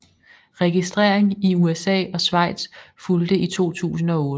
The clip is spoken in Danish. Registrering i USA og Schweiz fulgte i 2008